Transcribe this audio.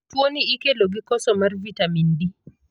Tuo ni ikelo gi koso mar vitamin D.